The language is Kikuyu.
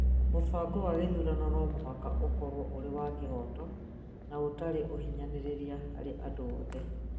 mũbango wa gĩthurano no mũhaka ũkorũo ũrĩ wa kĩhooto na ũtarĩ ũhinyanĩrĩria harĩ andũ othe